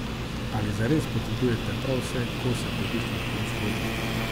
Ali zares potrebujete prav vse kose pohištva v prostoru?